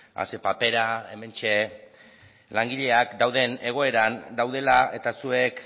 a ze papera hementxe langileak dauden egoeran daudela eta zuek